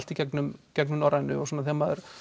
í gegnum gegnum Norrænu og þegar maður